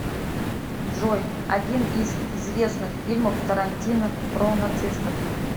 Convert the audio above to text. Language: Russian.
джой один из известных фильмов тарантино про нацистов